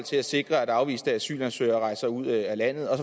skal sikre at afviste asylansøgere rejser ud af landet og